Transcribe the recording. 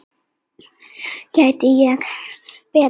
Gæti ekki betra verið.